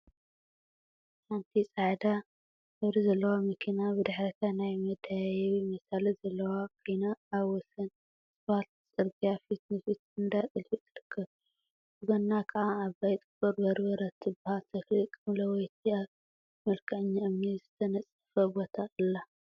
ሓንቲ ፃዕዳ ሕብሪ ዘለዋ መኪና ብድሕሪታ ናይ መደያየቢ መሳልል ዘለዋ ኮይና አብ ወሰን እስፓልት ፅርግያ ፊት ንፊት እንዳጥልፊ ትርከብ፡፡ ብጎና ከዓ ዓባይ ጥቁር በርበረ እትበሃል ተክሊ ቀምለወይቲ አብ መልክዐኛ እምኒ ዝተነፀፈ ቦታ አላ፡፡